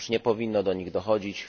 Otóż nie powinno do nich dochodzić.